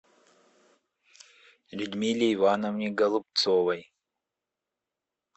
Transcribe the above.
людмиле ивановне голубцовой